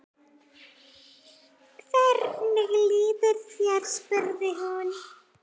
Hvernig líður þér? spurði hún.